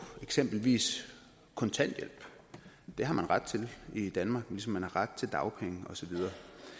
eksempelvis kontanthjælp det har man ret til i danmark ligesom man har ret til dagpenge og så videre